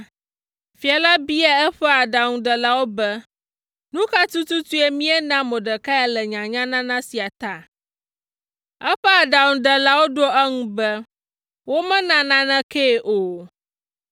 Fia la bia eƒe aɖaŋudelawo be, “Nu ka tututue míena Mordekai le nyanyanana sia ta?” Eƒe aɖaŋudelawo ɖo eŋu be, “Womena nanekee o!”